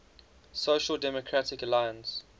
social democratic alliance